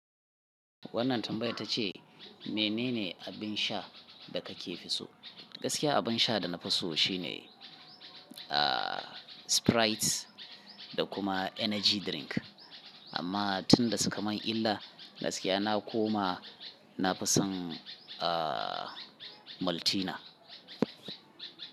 Wannan tambaya ta ce, menene abin sha da ka ke fi so? Gaskiya abin sha da na fi so shi ne, ahhh, Sprite da kuma energy drink. Amma tun da suka mun illa, gaskiya na koma na fi son, ahhh, Maltina.